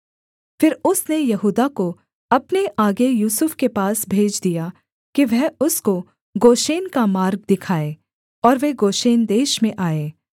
फिर उसने यहूदा को अपने आगे यूसुफ के पास भेज दिया कि वह उसको गोशेन का मार्ग दिखाए और वे गोशेन देश में आए